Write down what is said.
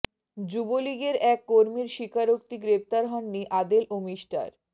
যুবলীগের এক কর্মীর স্বীকারোক্তি গ্রেপ্তার হননি আদেল ও মিষ্টার